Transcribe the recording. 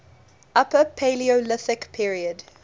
upper paleolithic period